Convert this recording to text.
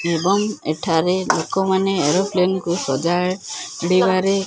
ଏବଂ ଏଠାରେ ଲୋକମାନେ ଏରୋପ୍ଲେନ୍ କୁ ସଜାଡ଼ିବାରେ --